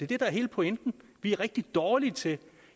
det der er hele pointen vi er rigtig dårlige til det